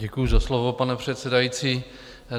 Děkuji za slovo, pane předsedající.